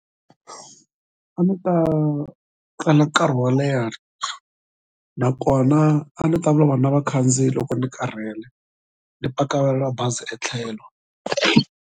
A ni ta tlela nkarhi wo leha nakona a ni ta na vakhandziyi loko ni karhele ni paka bazi etlhelo.